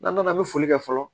N'an nana an bɛ foli kɛ fɔlɔ